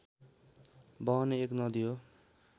बहने एक नदी हो